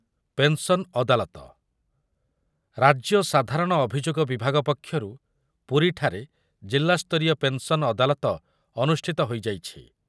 Pension ଅଦାଲତ, ରାଜ୍ୟ ସାଧାରଣ ଅଭିଯୋଗ ବିଭାଗ ପକ୍ଷରୁ ପୁରୀଠାରେ ଜିଲ୍ଲାସ୍ତରୀୟ ପେନ୍‌ସନ୍ ଅଦାଲତ ଅନୁଷ୍ଠିତ ହୋଇଯାଇଛି ।